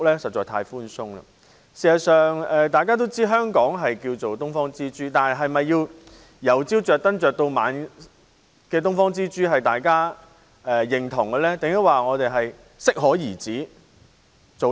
事實上，大家也知道，香港被稱為"東方之珠"，但大家是否認同這顆"東方之珠"要由早亮燈到晚上，還是應該適可而止呢？